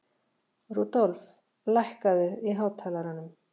Rudolf, lækkaðu í hátalaranum.